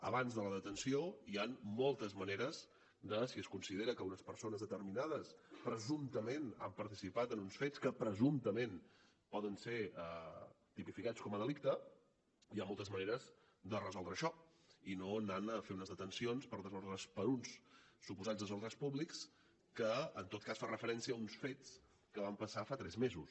abans de la detenció hi han moltes maneres si es considera que unes persones determinades presumptament han participat en uns fets que presumptament poden ser tipificats com a delicte hi ha moltes maneres de resoldre això i no anant a fer unes detencions per uns suposats desordres públics que en tot cas fan referència a uns fets que van passar fa tres mesos